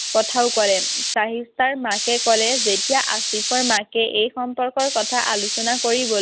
কথাও কলে। চাহিষ্ঠাৰ মাকে কলে যেতিয়া আছিফৰ মাকে এই সম্পৰ্কৰ কথা আলোচনা কৰিব